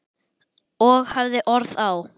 Og hafði orð á.